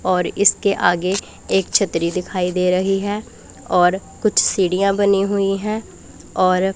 और इसके आगे एक छतरी दिखाई दे रही है और कुछ सीढ़ियां बनी हुई है और--